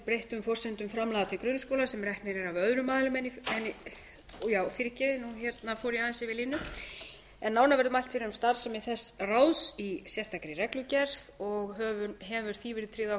skipan og starfrækslu sérstaks fagráðs sem er ætlunin að sé ráðgefandi vegna erfiðra eineltismála nánar verður mælt fyrir um starfsemi þess ráðs í sérstakri reglugerð og hefur því verið tryggð